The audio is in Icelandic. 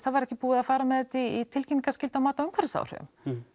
það var ekki búið að fara með þetta í tilkynningarskyldu á mati á umhverfisáhrifum